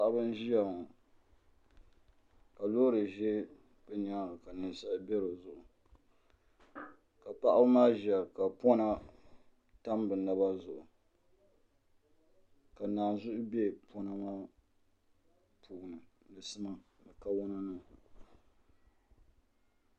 Paɣiba n-ʒaya ka loori ʒe bɛ nyaaŋa ka ninsala be di zuɣu ka paɣiba maa ʒiya ka pɔna tam bɛ naba zuɣu ka naanzuhi be pɔna maa puuni ni sima ni kariwana